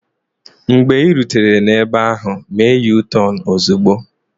Mgbe ị rutere ebe ahụ, mee yutọonu ozugbo!